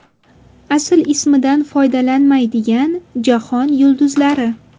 Asl ismidan foydalanmaydigan jahon yulduzlari.